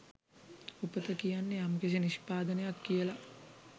උපත කියන්නේ යම්කිසි නිෂ්පාදනයක් කියලා.